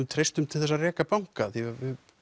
treystum til þess að reka banka því við